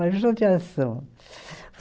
Uma judiação.